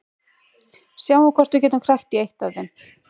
Sjáum hvort við getum krækt í eitt af þeim.